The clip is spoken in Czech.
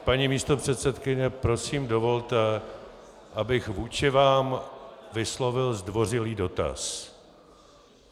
Paní místopředsedkyně, prosím dovolte, abych vůči vám vyslovil zdvořilý dotaz.